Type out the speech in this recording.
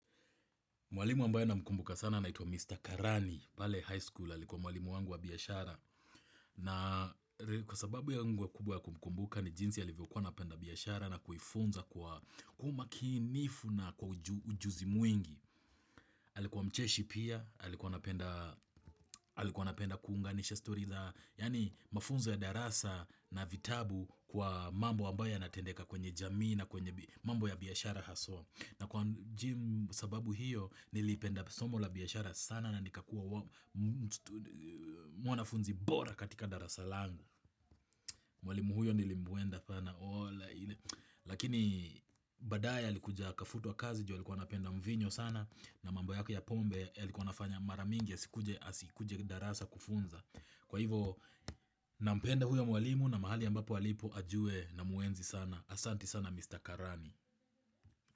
Mwalimu ambayo na mkumbuka sana naituwa Mr. Karani, pale high school, alikuwa mwalimu wangu wa biashara. Na kwasababu yangu kubwa ya kumkumbuka ni jinsi alivyokua anapenda biashara na kuifunza kwa umakinifu na kwa ujuzi mwingi. Alikuwa mcheshi pia, alikuwa anapenda kuunganisha story za, yani mafunzo ya darasa na vitabu kwa mambo ambayo yanatendeka kwenye jamii na kwenye mambo ya biashara haswa. Na kwa gym sababu hiyo nilipenda somo la biashara sana na nikakua mwanafunzi bora katika darasa langu Mwalimu huyo nilimbuenda sana ola ile Lakini baadaye alikuja akafutua kazi juu alikuwa anapenda mvinyo sana. Na mambo yake ya pombe yalikuwa anafanya mara mingi asikuje asikuje darasa kufunza. Kwa hivo nampenda huyo mwalimu na mahali ambapo alipo ajue na muenzi sana, Asanti sana Mr. Karani.